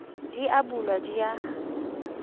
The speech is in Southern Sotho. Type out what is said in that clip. di a bulwa di a